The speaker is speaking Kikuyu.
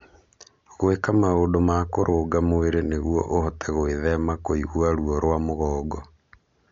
Gwĩka maũndũ ma kũrũnga mwĩrĩ nĩguo ũhote gwĩthema kũigua ruo rwa mugongo.